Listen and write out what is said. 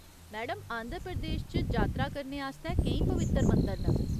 Madam, Andhra Pradesh च जातरा करने आस्तै केईं पवित्तर मंदर न।